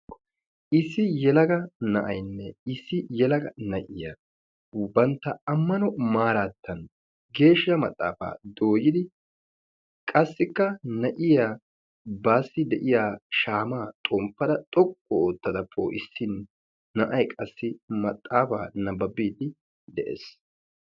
Issi yelaga na'ayinne issi yelaga na'iyaa bantta ammaano maarattan geeshsha maxaafaa doyiidi qassikka na'iyaa baassi de'iyaa shaamaa xomppada xoqqu oottada poo'issin na'ay qassi maxaafaa nabaabiidi de'ees.